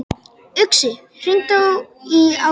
Uxi, hringdu í Ágúst.